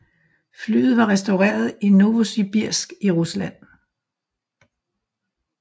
Flyet var restaureret i Novosibirsk i Rusland